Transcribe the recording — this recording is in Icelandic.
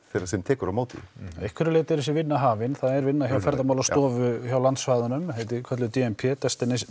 sem tekur á móti því einhverju leiti eru þessi vinna hafin það er vinna hjá Ferðamálastofu hjá landsvæðunum þetta er kallað d m p destination